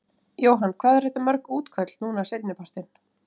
Jóhann: Hvað eru þetta mörg útköll núna seinni partinn?